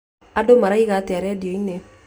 Andũ maroiga atĩa rĩndio-inĩ